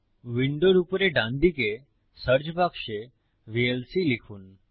উইন্ডোর উপরে ডানদিকে সার্চ বাক্সে ভিএলসি লিখুন